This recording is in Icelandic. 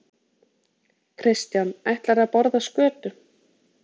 Kristján: Ætlar þú að borða skötu?